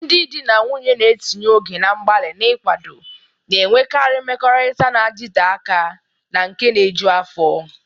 Ndị di na nwunye na-etinye oge na mgbalị n'ịkwado na-enwekarị mmekọrịta na-adịte aka na nke na-eju afọ.